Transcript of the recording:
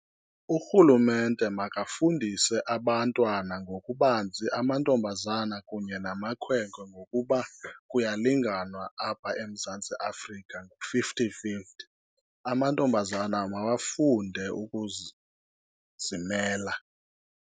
Urhulumente makafundise abantwana ngokubanzi amantombazana kunye namakhwenkwe ngokuba kuyalinganwa apha eMzantsi Afrika, ngu-fifty fifty. Amantombazana mawafunde zimela.